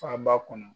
Faba kɔnɔ